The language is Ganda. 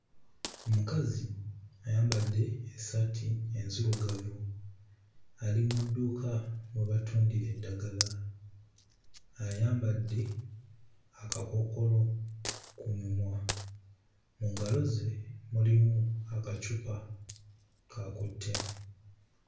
Omukazi ayambadde essaati enzirugavu ali mu dduuka mwe batundira eddagala, ayambadde akakookolo ku mumwa mu ngalo ze mulimu akacupa k'akutte.